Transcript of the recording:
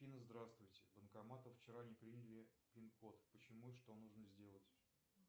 афина здравствуйте банкоматы вчера не приняли пин код почему и что нужно сделать